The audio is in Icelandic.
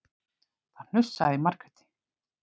Það hnussaði í Margréti.